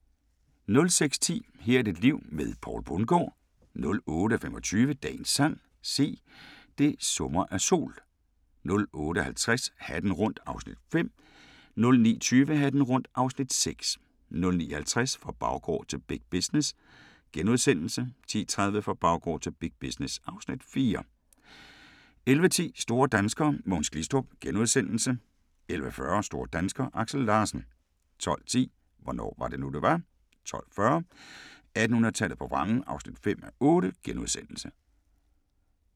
06:10: Her er dit liv med Poul Bundgaard 08:25: Dagens sang: Se, det summer af sol 08:50: Hatten rundt (Afs. 5) 09:20: Hatten rundt (Afs. 6) 09:50: Fra baggård til big business * 10:30: Fra baggård til big business (Afs. 4) 11:10: Store danskere: Mogens Glistrup * 11:40: Store danskere: Aksel Larsen 12:10: Hvornår var det nu det var? 12:40: 1800-tallet på vrangen (5:8)*